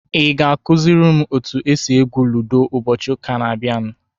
Ị ga-akụziri m otu esi egwu ludo ụbọchị ụka na-abịa?